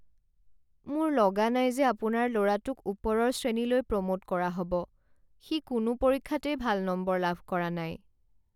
মোৰ লগা নাই যে আপোনাৰ ল'ৰাটোক ওপৰৰ শ্ৰেণীলৈ প্ৰ'ম'ট কৰা হ'ব। সি কোনো পৰীক্ষাতেই ভাল নম্বৰ লাভ কৰা নাই।